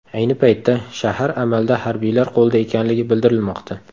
Ayni paytda shahar amalda harbiylar qo‘lida ekanligi bildirilmoqda.